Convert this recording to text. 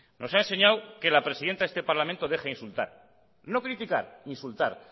nos ha enseñado que la presidenta de este parlamento deja insultar no criticar insultar